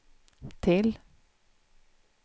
till